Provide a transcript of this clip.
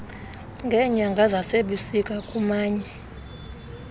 ngeenyanga zasebusika kumanye